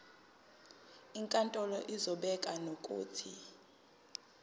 inkantolo izobeka nokuthi